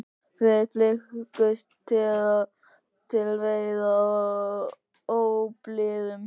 Þeir flykktust til veiða á óblíðum